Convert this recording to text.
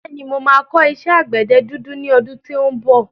Bẹ́ẹ̀ni, mo máa kọ́ iṣẹ́ àgbẹ̀dẹ dúdú ní ọdún tí ó ń bọ̀.